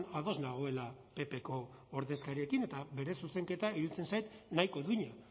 ados nagoela ppko ordezkariekin eta bere zuzenketa iruditzen zait nahiko duina